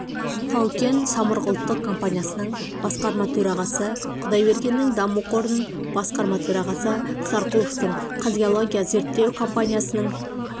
тау-кен самұрық ұлттық компаниясының басқарма төрағасы құдайбергеннің даму қорының басқарма төрағасы сарқұловтың қазгеология зерттеу компаниясының